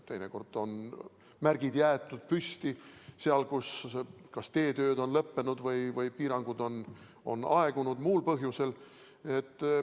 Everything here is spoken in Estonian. Teinekord on märgid jäetud püsti seal, kus teetööd on lõppenud või piirangud on aegunud muul põhjusel.